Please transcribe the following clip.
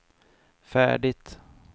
färdigt